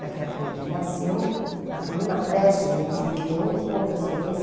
Daquela daquele que nasceu na coluna Prestes, a gente vê bem o encontro ascendência.